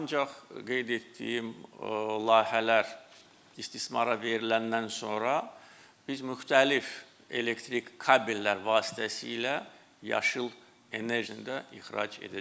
Ancaq qeyd etdiyim layihələr istismara veriləndən sonra biz müxtəlif elektrik kabellər vasitəsilə yaşıl enerjini də ixrac edəcəyik.